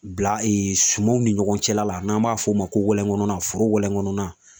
Bila sumanw ni ɲɔgɔn cɛla la n'an b'a f'o ma ko wɛlɛnkɔnɔna na foro wɛlɛnkɔnɔna